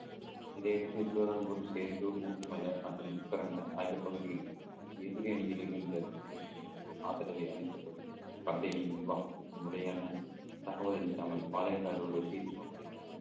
இதையடுத்து மலை மற்றும் ஆகிய பகுதியில் எதிரணியில் இருந்த தங்கள் ஆதரவை அளிக்க தொடங்கினார் company ன் நிர்வாகத்திற்கு முறையான தகவல் அளிக்காமல் பாளையக்காரரோடு பேச்சுவார்த்தை